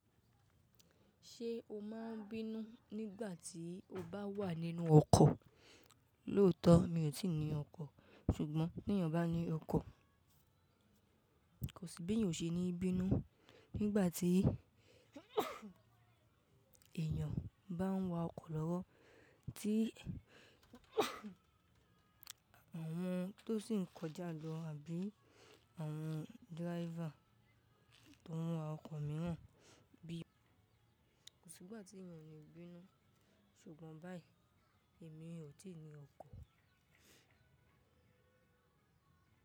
Ṣé o máa ń bínú nígbà tí o bá wà nínú ọkọ̀? Lóòótọ́, mi ò tíì ní ọkọ̀. Ṣùgbọ́n bí èèyàn bá ní ọkọ̀, kò sí bí èèyàn ò ṣe é ní bínú nígbà tí èèyàn bá ń wa ọkọ̀ lọ́wọ́ tí àwọn tó sì ń kọjá lọ àbí àwọn driver tó ń wa ọkọ̀ mìíràn bí i. Kò sí ìgbà tí èèyàn ò ní bínú. Ṣùgbọ́n báyìí èmi ò tíì ní ọkọ̀.